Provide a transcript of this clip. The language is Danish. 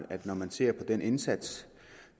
det når man ser på den indsats